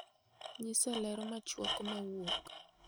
nyisa ler machuok ma wuok